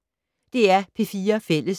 DR P4 Fælles